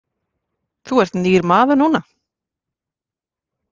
Þú ert nýr maður núna.